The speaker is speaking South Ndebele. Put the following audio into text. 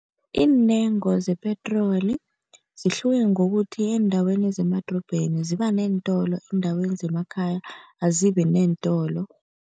Iintengo zepetroli zihluke ngokuthi eendaweni zemadorobheni, ziba neentolo, eendaweni zemakhaya azibineentolo.